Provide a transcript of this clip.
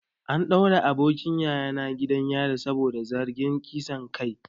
An daure abokin yayana gidan yari saboda zargin kisan kai.